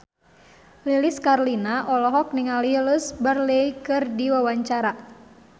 Lilis Karlina olohok ningali Louise Brealey keur diwawancara